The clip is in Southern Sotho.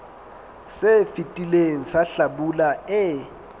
se fetileng sa hlabula e